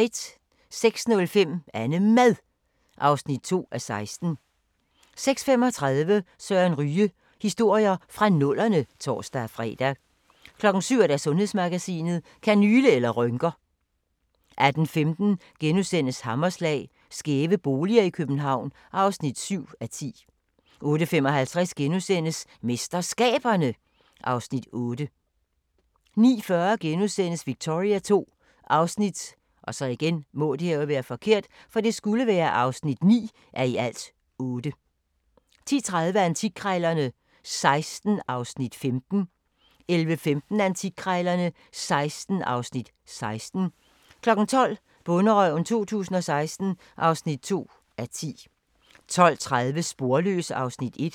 06:05: AnneMad (2:16) 06:35: Søren Ryge: Historier fra nullerne (tor-fre) 07:00: Sundhedsmagasinet: Kanyle eller rynker? 08:15: Hammerslag - skæve boliger i København (7:10)* 08:55: MesterSkaberne (Afs. 8)* 09:40: Victoria II (9:8)* 10:30: Antikkrejlerne XVI (Afs. 15) 11:15: Antikkrejlerne XVI (Afs. 16) 12:00: Bonderøven 2016 (2:10) 12:30: Sporløs (Afs. 1)